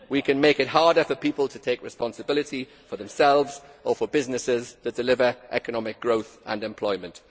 We can make it harder for people to take responsibility for themselves or for businesses which deliver economic growth and employment.